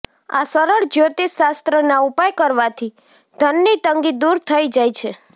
આ સરળ જ્યોતિષ શાસ્ત્રના ઉપાય કરવાથી ધનની તંગી દૂર થઈ જાય છે